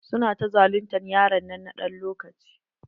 Su na ta zaluntar yaron nan na ɗan wani lokaci.